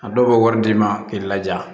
A dɔw bɛ wari d'i ma k'i laja